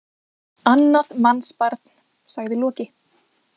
Annað mannsbarn, sagði Loki.